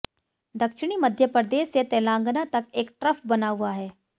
दक्षिणी मध्य प्रदेश से तेलंगाना तक एक ट्रफ बना हुआ है